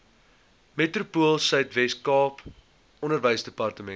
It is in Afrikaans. metropoolsuid weskaap onderwysdepartement